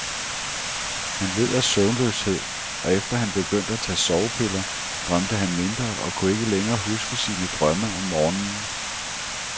Han led af søvnløshed, og efter han begyndte at tage sovepiller, drømte han mindre og kunne ikke længere huske sine drømme om morgenen.